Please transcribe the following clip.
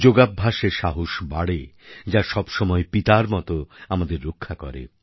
যোগাভ্যাসে সাহস বাড়ে যা সবসময় পিতার মত আমাদের রক্ষা করে